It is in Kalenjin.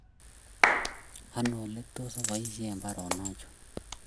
Ano ole tos aboisye baronok chu?